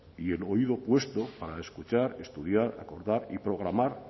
y el oído puesto para escuchar estudiar acordar y programar